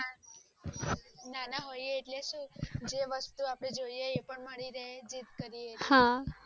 નાના હોય એટલે જે વસ્તુ આપણે જોઈએ પણ મળી રહે જીદ